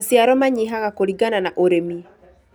Maciaro manyihaga kũlingana na ũrĩmi